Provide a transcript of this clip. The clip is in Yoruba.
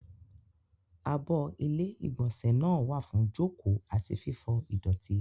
Abọ́ ilé-ìgbọ̀nsẹ̀ náà wà fún jókòó àti fífọ ìdọ̀tí.